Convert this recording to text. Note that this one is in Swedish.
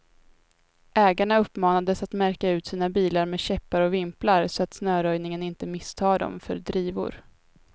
Ägarna uppmanades att märka ut sina bilar med käppar och vimplar, så att snöröjningen inte misstar dem för drivor.